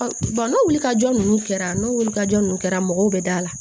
n'o wulikajɔ ninnu kɛra n'o wulikajɔ ninnu kɛra mɔgɔw bɛ da la